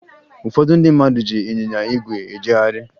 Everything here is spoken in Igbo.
Ụfọdụ ndị mmadụ ji ịnyịnya ígwè ejegharị